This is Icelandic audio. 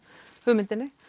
hugmyndinni